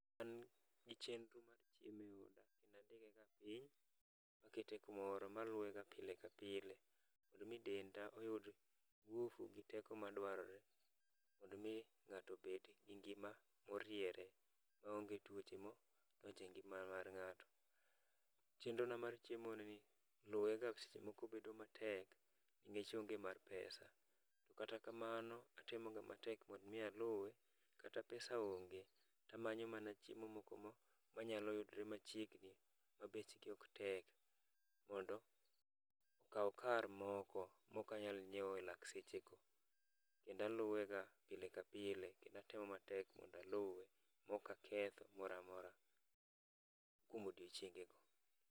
An gi chenro mar chieme oda kendo andike ga piny makete kumoro maluwe ga pile ka pile. Mondo mi denda oyud ngufu gi teko madwarore, mondo mi ng'ato obed gi ngima moriere, maonge tuoche mo donje ngima mar ng'ato. Chenro na mar chiemo ni, luwe ga seche moko bedo matek ningech onge mar pesa. To kata kamano, atemoga matek mondo mi aluwe, kata ka pesa onge, tamanyo mana chiemo moko ma manyalo yudre machiegni ma bechgi ok tek. Mondo, okaw kar moko mokanyal nyiewo e lak sechego. Kendo aluwega pile ka pile, kendo atemo matek mondaluwe mokaketho gimoramora kuom odiochienge go.